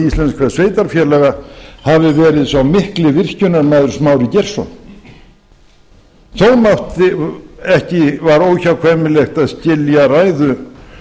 íslenskra sveitarfélaga hafi verið sá mikli virkjunarmaður smári geirsson þó var óhjákvæmilegt að skilja ræðu